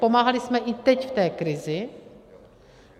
Pomáhali jsme i teď v té krizi.